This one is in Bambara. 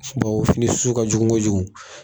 fini s su ka jugun kojugu.